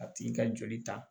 A tigi ka joli ta